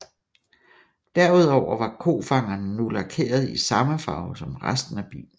Derudover var kofangerne nu lakeret i samme farve som resten af bilen